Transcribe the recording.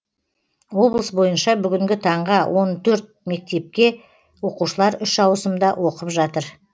облыс бойынша бүгінгі таңға он төрт мектепте оқушылар үш ауысымда оқып жатыр